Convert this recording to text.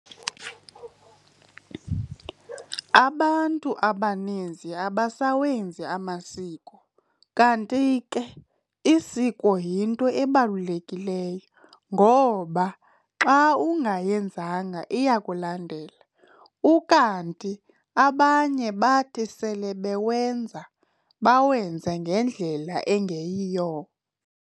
Abantu abaninzi abasawenzi amasiko kanti ke isiko yinto ebalulekileyo ngoba xa ungayenzanga iyakulandela, ukanti abanye bathi sele bewenza bawenze ngendlela engeyiyo